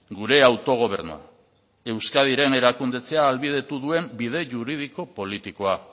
gure autogobernua euskadiren erakundetzea ahalbidetu duen bide juridiko politikoa